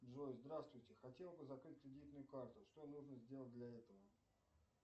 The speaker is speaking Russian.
джой здравствуйте хотел бы закрыть кредитную карту что нужно сделать для этого